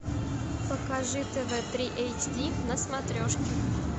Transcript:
покажи тв три эйч ди на смотрешке